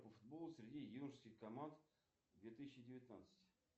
футбол среди юношеских команд две тысячи девятнадцать